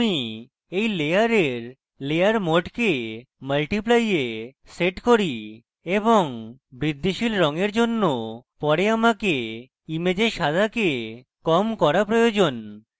আমি এই layer layer mode multiply এ set করি এবং বৃদ্ধিশীল রঙের জন্য পরে আমাকে image সাদাকে কম করা প্রয়োজন